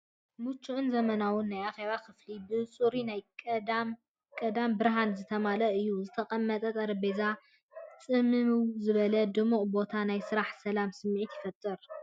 ምቹእን ዘመናውን ናይ ኣኼባ ክፍሊ ብጽሩይ ናይ ቀዳም ብርሃን ዝተመልአ እዩ፤ ዝተቐመጠ ጠረጴዛን ጽምው ዝበለን ድሙቕን ቦታን ናይ ስራሕ ሰላም ስምዒት ይፈጥር።